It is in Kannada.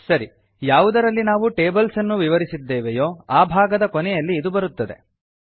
ಸರಿ ಯಾವುದರಲ್ಲಿ ನಾವು ಟೇಬಲ್ಸ್ ಅನ್ನು ವಿವರಿಸಿದ್ದೇವೆಯೋ ಆ ಭಾಗದ ಕೊನೆಯಲ್ಲಿ ಇದು ಬರುತ್ತದೆ